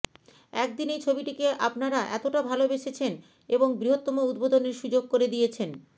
একদিনেই ছবিটিকে আপনারা এতটা ভালোবেসেছেন এবং বৃহত্তম উদ্বোধনের সুযোগ করে দিয়েছেন